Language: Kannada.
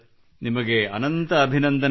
ನಿಮಗೆ ಅನಂತ ಅಭಿನಂದನೆಗಳು